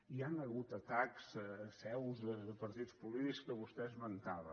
hi han hagut atacs a seus de partits polítics que vostè esmentava